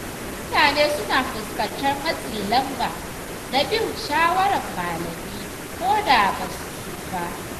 Wasu mutane suna fuskantar matsin lamba na bin shawarar malami ko da ba su so ba.